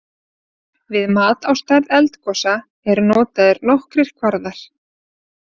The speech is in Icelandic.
Við mat á stærð eldgosa eru notaðir nokkrir kvarðar.